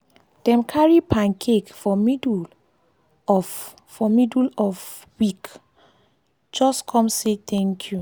dem carry pancake for middle of for middle of week just come say thank you.